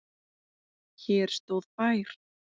Hér stóð bær.